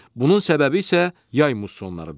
Bunun səbəbi isə yay mussonlarıdır.